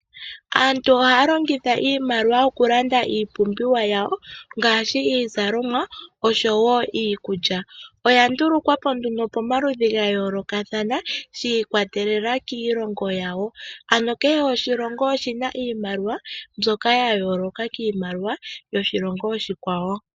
Aantu ohaya longitha iimaliwa okulanda iipumbiwa yawo ngaashi iizalomwa oshowo iikulya. Oya ndulukwa po nduno pomaludhi gayoolokathana shiikwatelela kiilongo yawo. Ano kehe oshilongo oshina iimaliwa mbyoka ya yooloka kiimaliwa yoshilongo oshikwawo.